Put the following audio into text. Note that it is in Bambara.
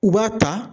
U b'a ta